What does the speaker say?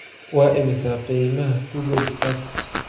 waa imisa qiimaha google stock